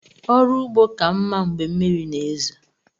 ọrụ ugbo ka mmá Mgbe mmiri na ezo.